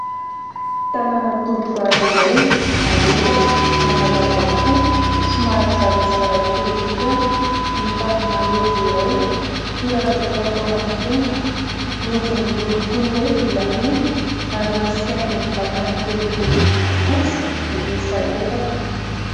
Tanana tovovavy iray malefaka manalava hoho somary zarazara fihodirana mitazona rojo iray, firavaka fatao amin'ny tenda, rojo miloko toy hoe volamena ary misy haingony vakana kely boribory fotsy miisa efatra.